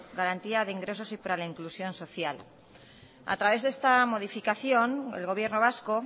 garantía de ingresos y para la inclusión social a través de esta modificación el gobierno vasco